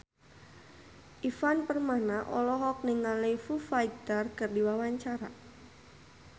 Ivan Permana olohok ningali Foo Fighter keur diwawancara